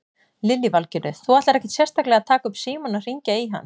Lillý Valgerður: Þú ætlar ekkert sérstaklega að taka upp símann og hringja í hann?